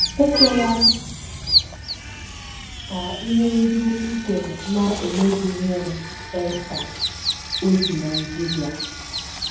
“ Ekwela ka ihe ndị i kweere na - eme gị ihere. ” Esther, o si Nigeria.